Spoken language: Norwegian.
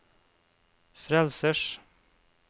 frelsers